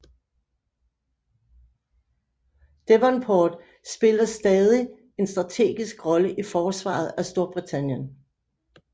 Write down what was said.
Devonport spiller stadig en strategisk rolle i forsvaret af Storbritannien